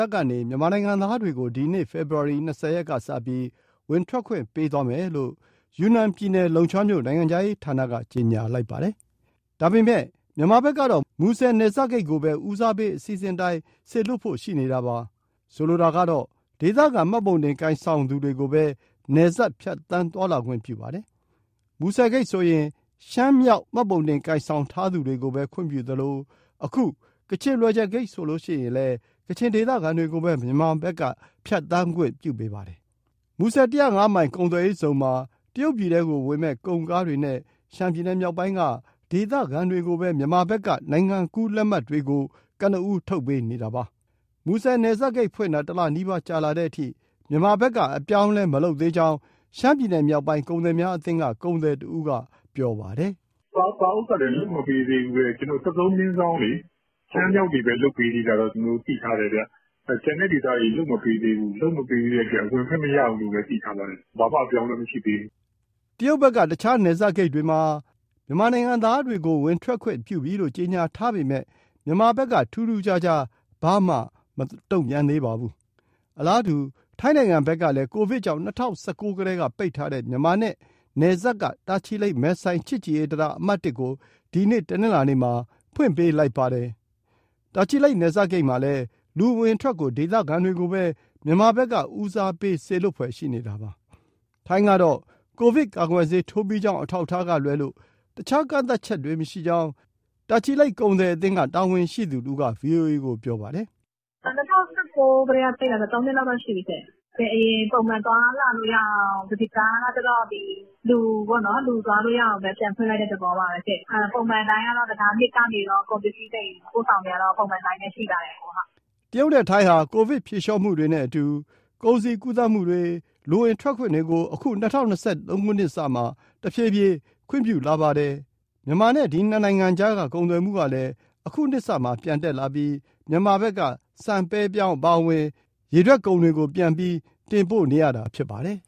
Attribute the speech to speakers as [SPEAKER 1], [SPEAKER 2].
[SPEAKER 1] တ်ကနေ မြန်မာနိုင်ငံသားတွေကို ဒီနေ့ ဖေဖော်ဝါရီ ၂၀ရက်ကစပြီး ဝင်ထွက်ခွင့်ပေးသွားမယ်လို့ ယူနန်ပြည်နယ် လုံချွမ်းမြို့ နိုင်ငံခြားရေးရာဌာနက ကြေညာထားပါတယ်။ ဒါပေမဲ့ မြန်မာဘက်ကတော့ မူဆယ်နယ်စပ်ဂိတ်လိုပဲ ဦးစားပေး အစီစဉ်အတိုင်းပဲ စေလွှတ်ဖို့ရှိနေတာပါ။ ဆိုလိုတာကတော့ ဒေသခံမှတ်ပုံတင်ကိုင်ဆောင်သူတွေကိုပဲ နယ်စပ်ဖြတ်သန်းသွားလာခွင့်ပြုပါတယ်။ မူဆယ်ဂိတ်ဆိုရင် ရှမ်းမြောက်မှတ်ပုံတင်ကိုင်ဆောင်သူတွေကိုပဲ ခွင့်ပြုသလို၊ အခု ကချင်လွယ်ဂျယ်ဂိတ်ဆိုရင်လည်း ကချင်ဒေသခံတွေကိုပဲ မြန်မာဖက်က ဖြတ်သန်းခွင့်ပေးပါတယ်။ မူဆယ် ၁၀၅မိုင် ကုန်သွယ်ရေးဇုန်မှာ တရုတ်ပြည်ထဲကိုဝင်မဲ့ ကုန်ကားတွေနဲ့ ရှမ်းပြည်နယ်မြောက်ပိုင်းက ဒေသခံတွေကိုပဲ မြန်မာဘက်က နိုင်ငံကူးလက်မှတ်တွေကို ကနဦး ထုတ်ပေးနေတာပါ။မူဆယ်နယ်စပ်ဂိတ်ဖွင့်တာ တလနီးပါးကြာလာတဲ့အထိ မြန်မာဘက်က အပြောင်းအလဲ မလုပ်သေးကြောင်း ရှမ်းပြည်နယ်မြောက်ပိုင်း ကုန်သည်များအသင်းက ကုန်သည်တဦးကပြောပါတယ်
[SPEAKER 2] ။ " စာအုပ်ကလည်း လုပ်မပေးသေးဘူးပဲ၊ ကျနော်တို့ ၁၃/ ရှမ်းမြောက်တွေပဲ လုပ်ပေးသေးတာတော့ ကျနော်တို့ သိထားတယ်ဗျ။ ကျန်တဲ့ဒေသတွေ လုပ်မပေးသေးဘူး။ လုပ်မပေးသေးတဲ့အတွက် အဝင်အထွက် မရသေးဘူးလို့ပဲ သိထားပါတယ်ဗျ။ ဘာမှအပြောင်းအလဲ မရှိသေး
[SPEAKER 1] ဘူးဗျ။" တရုတ်ဖက်က တခြား နယ်စပ်ဂိတ်တွေမှာ မြန်မာနိုင်ငံသားတွေကို ဝင်ထွက်ခွင့်ပြုပြီလို့ ကြေညာထားပေမဲ့၊ မြန်မာဘက်က ထူးထူးခြားခြား ဘာမှမတုံ့ပြန်သေးပါဘူး။ အလားတူ ထိုင်းနိုင်ငံကလည်း ကိုဗစ်ကြောင့် ၂၀၁၉ ကတည်းက ပိတ်ထားတဲ့ မြန်မာနဲ့နယ်စပ်က တာချီလိတ်- မယ်ဆိုင် ချစ်ကြည်ရေးတံတား အမှတ် ကို ဒီနေ့တနင်္လာနေ့မှာ ဖွင့်ပေးလိုက်ပါတယ်။ တာချီလိတ်နယ်စပ်ဂိတ်မှာလည်း လူအဝင်အထွက်ကို ဒေသခံတွေကိုပဲ မြန်မာဘက်က ဦးစားပေးစေလွှတ်ဖွယ် ရှိနေတာပါ။ ထိုင်းကတော့ ကိုဗစ်ကာကွယ်ဆေး ထိုးပြီးကြောင်း အထောက်အထားကလွဲလို့ တခြားကန့်သတ်ချက်တွေ မရှိကြောင်း တာချီလိတ်ကုန်သည်အသင်းက တာဝန်ရှိသူတဦးက ဗွီအိုအေကို ပြောပါတယ်။
[SPEAKER 2] " ၂၀၁၉ ကတည်းက ပိတ်တာဆိုတော့ သုံးနှစ်လောက်ရှိပြီရှင့် အရင်တိုင်း ပုံမှန်သွားလာလို့ရအောင် ဒါက လူသွားလို့ရအောင် ပြန်ဖွင့်လိုက်တဲ့သဘောပါပဲ။ ပုံမှန်အတိုင်းကတော့ တံတား၂ကနေ ကုန်ပစ္စည်း သယ်ယူပို့ဆောင်နေတာတော့ ပုံမှန်အတိုင်းပဲ ရှိပါတယ်။
[SPEAKER 1] " တရုတ်နဲ့ ထိုင်းဟာ ကိုဗစ်ဖြေလျှော့မှုတွေနဲ့အတူ ကုန်စည်ကူးသန်းမှုတွေ၊ လူဝင်ထွက်ခွင့်တွေကို အခု ၂၀၂၃ နှစ်စမှာ တဖြည်းဖြည်း ခွင့်ပြုလာပါတယ်။ မြန်မာနဲ့ ဒီနှစ်နိုင်ငံကြားက ကုန်သွယ်မှုကလည်း အခုနှစ်စမှာ ပြန်တက်လာပြီး မြန်မာဘက်က ဆန် ပဲ ပြောင်း အပါအဝင် ရေထွက်ကုန်တွေကို ပြန်ပြီး တင်ပို့နေရတာ ဖြစ်ပါတယ်